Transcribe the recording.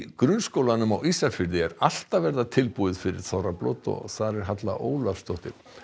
grunnskólanum á Ísafirði er allt að verða tilbúið fyrir þorrablót og þar er Halla Ólafsdóttir